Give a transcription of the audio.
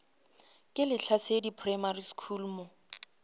ke lehlasedi primary school mo